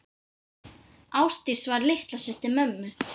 Ásdís var litla systir mömmu.